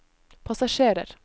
passasjerer